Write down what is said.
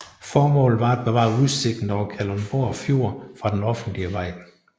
Formålet var at bevare udsigten over Kalundborg Fjord fra den offentlige vej